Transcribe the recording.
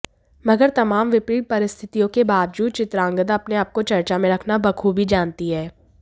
मगर तमाम विपरीत परिस्थितियों के बावजूद चित्रांगदा अपने आपको चर्चा में रखना बखूबी जानती है